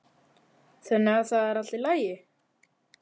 Þannig að það er allt í lagi?